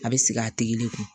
A bɛ sigi a tigi le kun